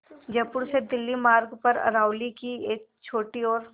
जयपुर से दिल्ली मार्ग पर अरावली की एक छोटी और